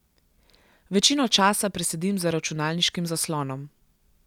Večino časa presedim za računalniškim zaslonom.